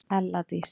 ELLA DÍS